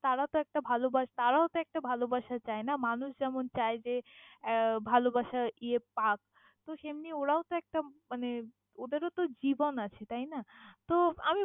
তারা তহ একটা ভালবা তারাও তহ একটা ভালবাসা চায় না? মানুষ যেমন চায় যে আহ ভালবাসা ইয়ে পাক সেম্নি ওরাও তহ একটা আহ মানে ওদের ও তহ জীবন আছে তাইনা তহ আমি।